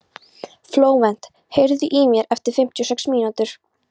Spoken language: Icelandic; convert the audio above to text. Flóvent, heyrðu í mér eftir fimmtíu og sex mínútur.